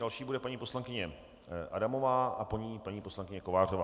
Další bude paní poslankyně Adamová a po ní paní poslankyně Kovářová.